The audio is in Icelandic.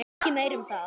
Ekki meira um það.